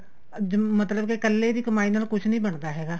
ਅੱਜ ਮਤਲਬ ਕੱਲੇ ਦੀ ਕਮਾਈ ਨਾਲ ਕੁੱਝ ਨੀ ਬਣਦਾ ਹੈਗਾ